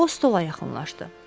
O stola yaxınlaşdı.